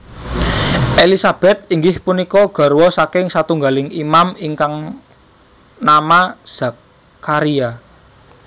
Elisabet inggih punika garwa saking satunggaling Imam ingkang nama Zakharia